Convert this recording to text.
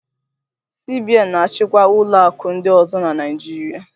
CBN na-achịkwa ụlọ akụ ndị ọzọ na Naịjirịa